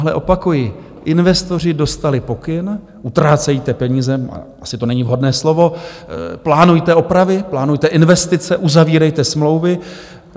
Ale opakuji, investoři dostali pokyn: utrácejte peníze - asi to není vhodné slovo - plánujte opravy, plánujte investice, uzavírejte smlouvy.